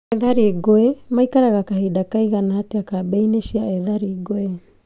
Ethari ngũĩ maikaraga kahinda kaigana atĩa kambĩ-inĩ cia ethari ngũĩ